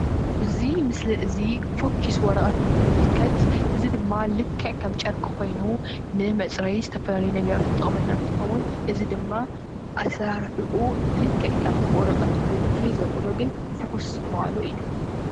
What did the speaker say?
እዚ ምስሊ እዙይ ፎኪስ ወረቀት እንትንምልከት እዚ ድማ ልክዕ ከም ጨርቂ ኮይኑ ንምፅረይ ዝተፈላለዩ ነገራት ዝጠቅመና እንትከውን እዚ ድማ አሰራርሕኡ ልክዕ ከም ወረቀት ኮይኑ ፍልይ ዘብሎ ግን ፍኩስ ምባሉ እዩ።